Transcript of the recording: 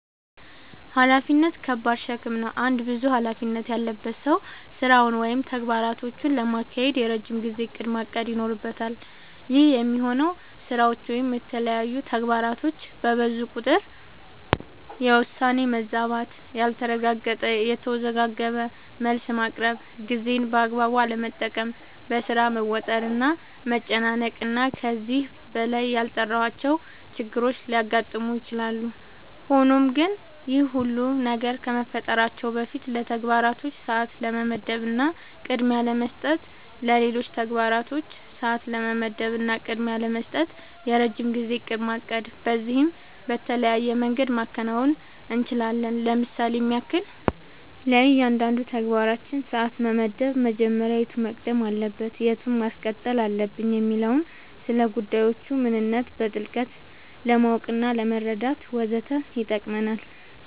ኃላፊነት ከባድ ሸክም ነው። አንድ ብዙ ኃላፊነት ያለበት ሰው ስራውን ወይም ተግባራቶቹን ለማካሄድ የረጅም ጊዜ እቅድ ማቀድ ይኖርበታል። ይህ የሚሆነው ስራዎች ወይም የተለያዩ ተግባራቶች በብዙ ቁጥር የውሳኔ መዛባት ያልተረጋገጠ፣ የተወዘጋገበ መልስ ማቅረብ፣ ጊዜን በአግባቡ አለመጠቀም፣ በሥራ መወጠር እና መጨናነቅ እና ከዚህ በላይ ያልጠራሁዋቸው ችግሮች ሊያጋጥሙ ይችላሉ። ሆኖም ግን ይህ ሁሉ ነገር ከመፈጠራቸው በፊት ለተግባራቶች ሰዓት ለመመደብ እና ቅድሚያ ለመስጠት ለሌሎች ተግባራቶች ሰዓት ለመመደብ እና ቅድሚያ ለመስጠት የረጅም ጊዜ እቅድ ማቀድ በዚህም በተለያየ መንገድ ማከናወን አንችላለኝ ለምሳሌም ያክል፦ ለእያንዳንዱ ተግባራችን ሰዓት መመደብ መጀመሪያ የቱ መቅደም አለበት የቱን ማስቀጠል አለብኝ የሚለውን፣ ስለጉዳዮቹ ምንነት በጥልቀት ለማወቅናለመረዳት ወዘተ ይጠቅመናል።